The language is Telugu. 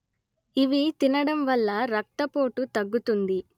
ఇవి తినడం వల్ల రక్తపోటు తగ్గుతుంది